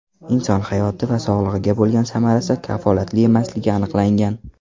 Inson hayoti va sog‘ligiga bo‘lgan samarasi kafolatli emasligi aniqlangan.